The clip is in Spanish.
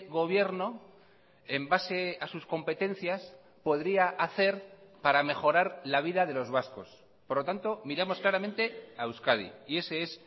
gobierno en base a sus competencias podría hacer para mejorar la vida de los vascos por lo tanto miramos claramente a euskadi y ese es